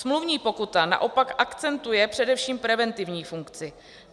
Smluvní pokuta naopak akcentuje především preventivní funkci.